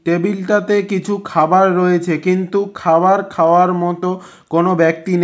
টেবিলটাতে কিছু খাবার রয়েছে কিন্তু খাওয়ার খাওয়ার মত কোনো ব্যক্তি নেই।